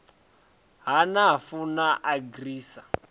ha nafu na agri sa